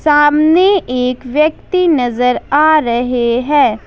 सामने एक व्यक्ति नजर आ रहे है।